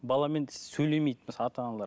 баламен сөйлемейді мысалы ата аналар